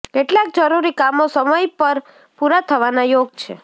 કેટલાક જરૂરી કામો સમય પર પૂરા થવાના યોગ છે